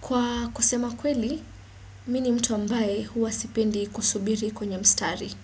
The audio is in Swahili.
Kwa kusema kweli, mi ni mtu ambaye huwa sipendi kusubiri kwenye mstari.